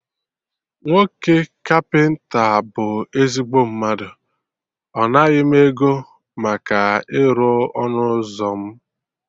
Nwoke kapịnta a bụ ezigbo mmadụ, ọ naghị m ego maka ịrụ ọnụ ụzọ mụ